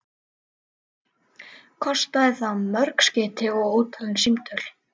Kostaði það mörg skeyti og ótalin símtöl.